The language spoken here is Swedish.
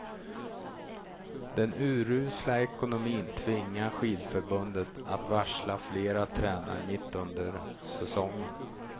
Den urusla ekonomin tvingar skidförbundet att varsla flera tränare mitt under säsongen.